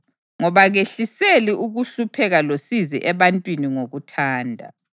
Ngoba kehliseli ukuhlupheka losizi ebantwini ngokuthanda.